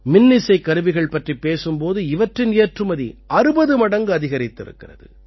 மின்னிசைக்கருவிகள் பற்றிப் பேசும் போது இவற்றின் ஏற்றுமதி 60 மடங்கு அதிகரித்திருக்கிறது